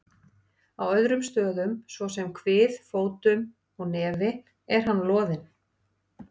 Á öðrum stöðum, svo sem á kvið, fótum og nefi er hann loðinn.